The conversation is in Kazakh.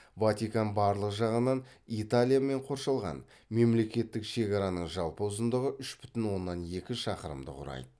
ватикан барлық жағынан италиямен қоршалған мемлекеттік шекараның жалпы ұзындығы үш бүтін оннан екі шақырымды құрайды